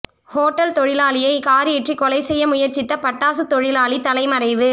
hotel தொழிலாளியை car ஏற்றி கொலை செய்ய முயற்சித்த பட்டாசுத்தொழிலாளி தலைமறைவு